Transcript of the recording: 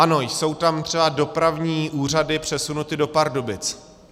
Ano, jsou tam třeba dopravní úřady přesunuty do Pardubic.